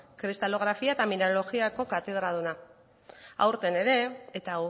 kristalografia eta mineralogiako katedraduna aurten ere eta